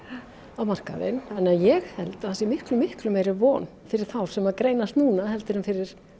á markaðinn þannig að ég held að það sé miklu miklu meiri von fyrir þá sem að greinast núna heldur en fyrir